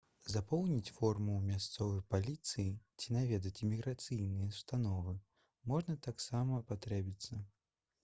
запоўніць форму ў мясцовай паліцыі ці наведаць іміграцыйныя ўстановы можа таксама спатрэбіцца